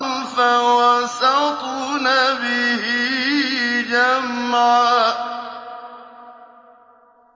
فَوَسَطْنَ بِهِ جَمْعًا